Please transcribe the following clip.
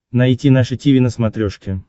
найти наше тиви на смотрешке